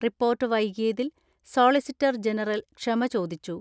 Report വൈകി യതിൽ solicitor general ക്ഷമ ചോദിച്ചു.